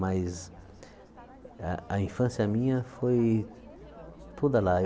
Mas a a infância minha foi toda lá.